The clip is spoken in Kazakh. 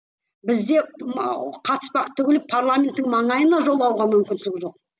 бізде қатыспақ түгілі парламенттің маңайына жолауға мүмкіншілік жоқ